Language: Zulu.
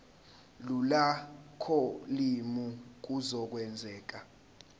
lula kolimi kuzokwenzeka